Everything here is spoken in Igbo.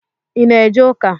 I na-eje uka?